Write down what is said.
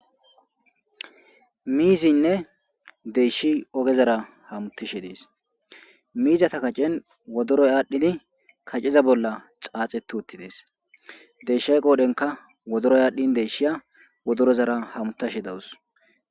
Miizinne deyshi ogezara hamutishe dees miizata kacen wodoroy aadhdhidi kacceza bolla xaaxetu uttidees deeshay qoodenka wodoroy aadhdhin deshiya wodorozara hamutashe dawus.